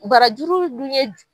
Barajuru dun ye.